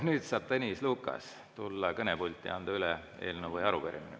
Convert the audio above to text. Nüüd saab Tõnis Lukas tulla kõnepulti ja anda üle eelnõu või arupärimise.